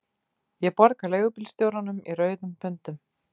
Ég borga leigubílstjóranum í rauðum pundum